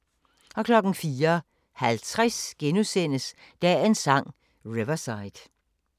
04:50: Dagens Sang: Riverside *